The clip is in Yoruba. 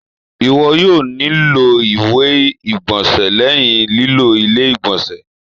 Iwọ yoo nilo iwe igbọnsẹ lẹhin lilo ile-igbọnsẹ.